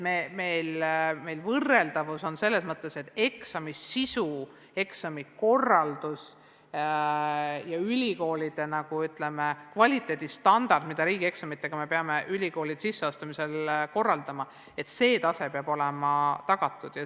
Meil on võrreldavus selles mõttes, et eksami sisu, eksami korraldus ja ülikoolide kvaliteedistandard, mida me riigieksamite puhul peame ülikoolidesse sisseastumisega seoses järgima, peab teatud tasemel olema tagatud.